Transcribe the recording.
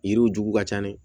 Yiriw juw ka ca dɛ